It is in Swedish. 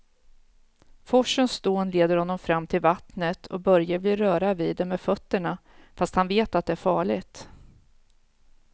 Forsens dån leder honom fram till vattnet och Börje vill röra vid det med fötterna, fast han vet att det är farligt.